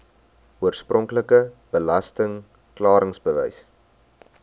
oorspronklike belasting klaringsbewys